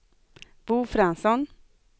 Bo Fransson